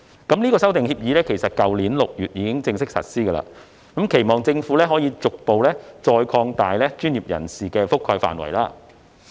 該修訂協議已於去年6月1日起正式實施，本人期望政府可逐步擴大專業人士的覆蓋範圍。